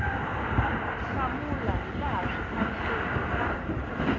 hlamula hilaha swi faneleke na